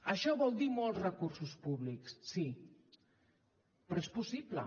això vol dir molts recursos públics sí però és possible